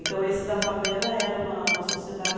Então, esse da favela era uma uma sociedade.